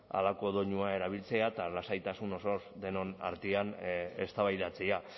halako doinua erabiltzea eta lasaitasun osoz denon artean eztabaidatzea